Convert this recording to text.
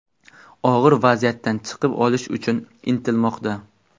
Og‘ir vaziyatdan chiqib olish uchun intilmoqda.